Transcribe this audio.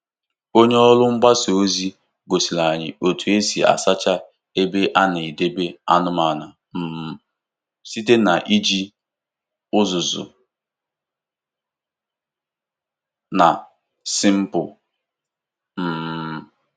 Onye ọrụ mgbasa ozi gosiri anyị otu esi asacha ebe a na-edebe anụmanụ um site n’iji uzuzu na sịmpụ. um